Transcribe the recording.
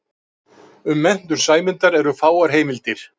Um menntun Sæmundar eru fáar heimildir.